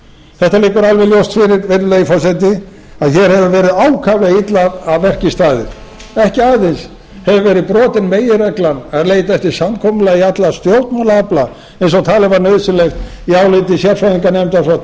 þetta liggur alveg ljóst fyrir virðulegi forseti að hér hefur verið ákaflega illa að verki staðið ekki aðeins hefur verið brotin meginregla að leita eftir samkomulagi allra stjórnmálaafla eins og talið var nauðsynlegt í áliti sérfræðinganefndar frá tvö þúsund og